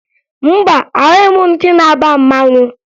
Mba, ahụghị m ndị na-aba mmanwụ